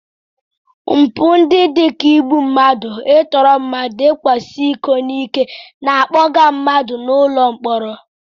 Mpụ ndị dị ka igbu mmadụ, I tụrụ mmadụ na ịkwasa iko n'ike na-akpọga mmadụ ụlọ mkpọrọ.